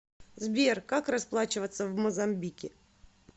сбер как расплачиваться в мозамбике